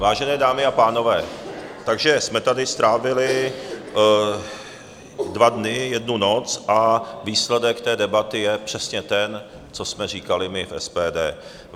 Vážené dámy a pánové, takže jsme tady strávili dva dny, jednu noc, a výsledek té debaty je přesně ten, co jsme říkali my v SPD.